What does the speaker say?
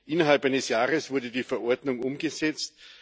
Innerhalb eines Jahres wurde die Verordnung umgesetzt.